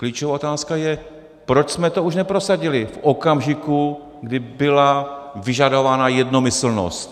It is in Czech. Klíčová otázka je, proč jsme to už neprosadili v okamžiku, kdy byla vyžadovaná jednomyslnost.